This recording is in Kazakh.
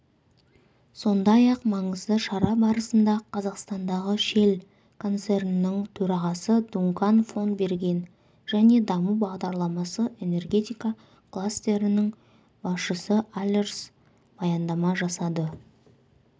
сондай-ақ маңызды шара барысында қазақстандағы шелл концерннің төрағасы дункан фон берген және даму бағдарламасы энергетика кластерінің басшысы алерс баяндама жасады